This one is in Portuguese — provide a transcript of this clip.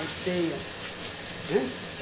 peia, né?